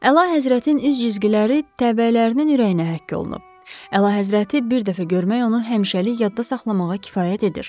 Əlahəzrətin üz cizgiləri təbəələrin ürəyinə həkk olunub, əlahəzrəti bir dəfə görmək onu həmişəlik yadda saxlamağa kifayət edir.